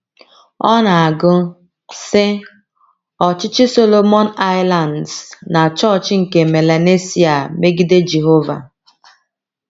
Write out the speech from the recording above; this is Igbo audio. Ọ na - agụ, sị: “ Ọchịchị Solomon Islands na Chọọchị nke Melanesia megide Jehova. ”